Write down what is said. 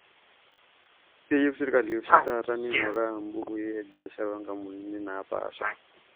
Keyieu serkali oshi taata neinguraa mbukui e biashara oo nkampunini naapasha